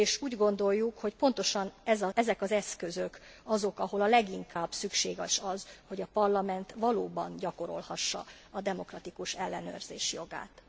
Úgy gondoljuk, hogy pontosan ezek az eszközök azok, ahol a leginkább szükséges az, hogy a Parlament valóban gyakorolhassa a demokratikus ellenőrzés jogát.